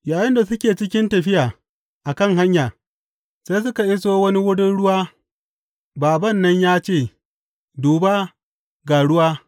Yayinda suke cikin tafiya a kan hanya, sai suka iso wani wurin ruwa bābān nan ya ce, Duba, ga ruwa.